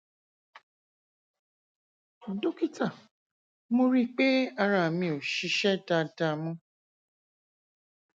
dókítà mo rí i pé ara mi ò ṣiṣẹ dáadáa mọ